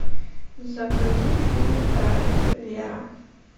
загрузи фильм рай вера